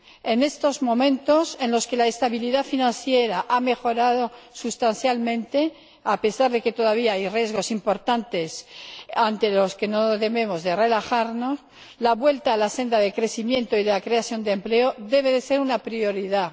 En estos momentos en los que la estabilidad financiera ha mejorado sustancialmente, a pesar de que todavía hay riesgos importantes ante los que no debemos relajarnos, la vuelta a la senda de crecimiento y de creación de empleo debe ser una prioridad.